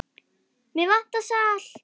Mig vantar salt.